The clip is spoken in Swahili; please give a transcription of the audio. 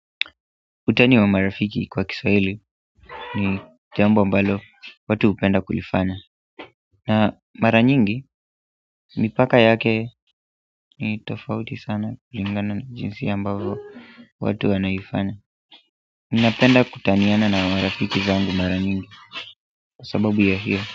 Utani wa marafiki kwa Kiswahili ni jambo ambalo watu hupenda kulifanya na mara nyingi, mipaka yake ni tofauti sana kulingana na jinsi ambavo watu wanaifanya ninapenda kutaniana na marafiki zangu mara nyingi kwa sabubu ya hiyo.